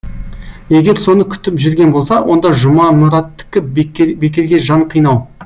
егер соны күтіп жүрген болса онда жұмамұраттікі бекерге жан қинау